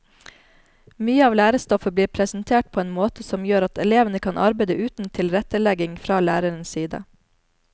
Mye av lærestoffet blir presentert på en måte som gjør at elevene kan arbeide uten tilrettelegging fra lærerens side.